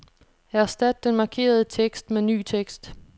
Erstat den markerede tekst med ny tekst.